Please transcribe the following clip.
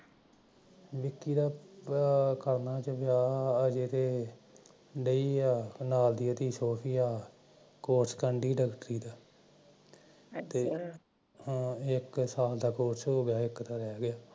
ਵਿਕੀ ਦਾ ਕਰਨ ਅਜੇ ਤਾਂ ਲਈ ਐ ਨਾਲ ਦੀ ਉਹਦੀ ਛੋਟੀ ਐ ਕੋਰਸ ਕਰਨੀ ਦੀ ਡੋਕਟ੍ਰੀ ਦ ਇੱਕ ਸਾਲ ਦਾ ਕੋਰਸ ਹੋ ਗਿਆ ਇਕ ਦਾ ਰਹਿ ਗਿਆ